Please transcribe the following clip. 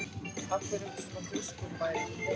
Af hverju ertu svona þrjóskur, Bæring?